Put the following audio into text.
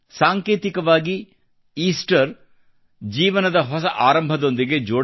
ಸಾಂಕೇತಿಕವಾಗಿ ಈಸ್ಟರ್ ಜೀವನದ ಹೊಸ ಆರಂಭದೊಂದಿಗೆ ಜೋಡಣೆಯಾಗಿದೆ